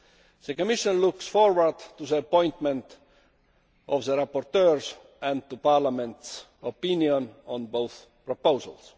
The Commission looks forward to the appointment of the rapporteurs and to Parliament's opinion on both proposals.